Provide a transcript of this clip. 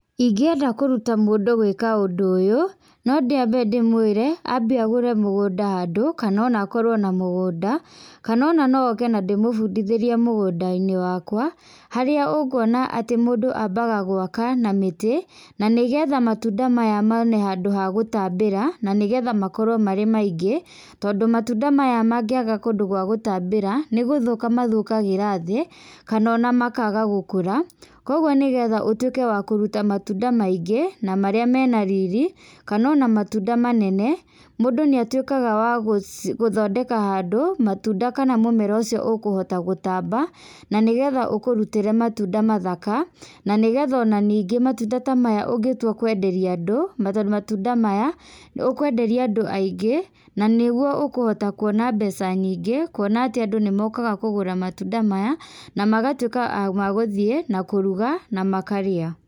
Ingĩenda kũruta mũndũ gwĩka ũndũ ũyũ, no nyambe ndimũire ambe agũre mũgũnda handũ kana ona akorwo na mũgũnda, kana ona no oke na ndĩmũbundithĩrie mũgũnda wakwa, harĩa ũkuona atĩ mũndũ ambaga gwaka na mĩtĩ, na nĩgetha matunda maya mone ha gũtambĩra, na nĩgetha makorwo marĩ maingĩ. Tondũ matunda maya magĩaga kũndũ gwa gũtambĩra nĩ gũthũka mathũkagĩra thĩ kana ona makaga gũkũra. Kwoguo nĩgetha ũtuĩke wakuruta matunda maingĩ na marĩa mena riri, kana ona matunda manene, mũndũ nĩ atuĩkaga wa gũthondeka handũ matunda kana mũmera ũcio ũkũhota gũtamba, na nĩgetha ũkũrutĩre matunda mathaka. Na nĩgetha o ningĩ matunda ta maya ũngĩtua kwenderia andũ matunda maya, ukũenderia andũ aingĩ, na nĩguo ũkuona mbeca nyingĩ, kuona atĩ andũ nĩ mokaga kũgũra matunda maya na magatuĩka ma gũthiĩ na kũruga na makarĩa.